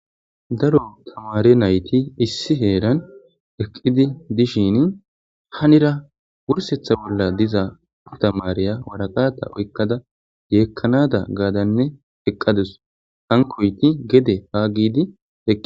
daro tamare nayti issi heeran eqqidi dishin hanira wursetha bolla diza ptamareya waraqata oykkada yeekkanada gaadanne heqqadus hankoyti gede haagidi